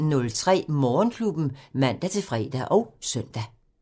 05:03: Morgenklubben (man-fre og søn)